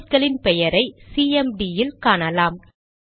process களின் பெயரை CMD ல் காணலாம்